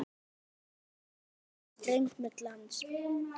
Strokið yfir streng með glans.